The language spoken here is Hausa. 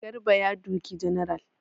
Garba ya doki general.